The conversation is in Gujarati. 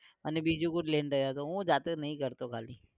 અને બીજું કુછ લઇ ને ગયો તો હું જાતે નઈ કરતો ખાલી